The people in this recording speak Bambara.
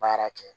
Baara kɛ